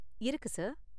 இருக்கு சார்.